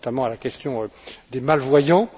Je pense notamment à la question des malvoyants.